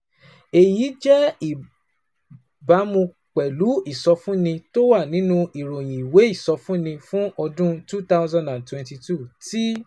Èyí jẹ́ ní ìbámu pẹ̀lú ìsọfúnni tó wà nínú Ìròyìn Ìwé Ìsọfúnni fún Ọdún two thousand and twenty two tí